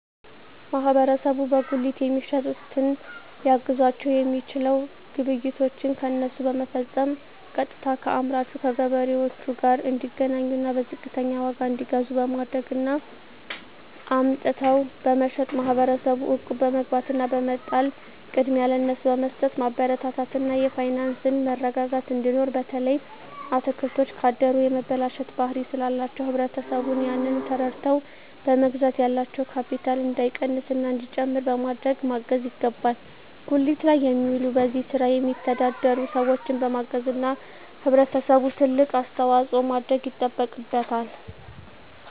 ማህበረሰቡ በጉሊት የሚሸጡትን ሊያግዛቸዉ የሚችለዉ ግብይቶችን ከነሱ በመፈፀም ቀጥታከአምራቹ ከገበሬዎቹ ጋር እንዲገናኙና በዝቅተኛ ዋጋ እንዲገዙ በማድረግ እና አምጥተዉ በመሸጥ ማህበረሰቡ እቁብ በመግባት እና በመጣል ቅድሚያ ለነሱ በመስጠትማበረታታት እና የፋይናንስ መረጋጋት እንዲኖር በተለይ አትክልቶች ካደሩ የመበላሸት ባህሪ ስላላቸዉ ህብረተሰቡ ያንን ተረድተዉ በመግዛት ያላቸዉ ካቢታል እንዳይቀንስና እንዲጨምር በማድረግ ማገዝ ይገባል ጉሊት ላይ የሚዉሉ በዚህ ስራ የሚተዳደሩ ሰዎችን በማገዝና ህብረተሰቡ ትልቅ አስተዋፅኦ ማድረግ ይጠበቅበታል